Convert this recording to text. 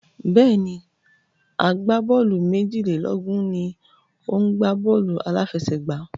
Bẹ́ẹ̀ni, agbábọ́ọ̀lù méjìlélógún ni ó ń gbá bọ́ọ̀lù aláfẹsẹ̀gbá.